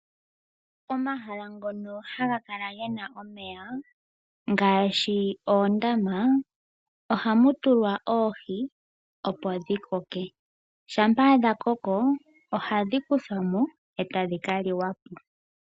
Omahala ngono haga kala gena omeya ngaashi oondama, ohamu tulwa oohi opo dhikoke. Shampa dhakoko ohadhi kuthwa mo e tadhi liwa po.